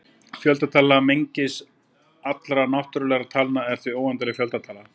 Fjöldatala mengis allra náttúrulegra talna er því óendanleg fjöldatala.